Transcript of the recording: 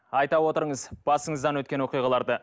айта отырыңыз басыңыздан өткен оқиғаларды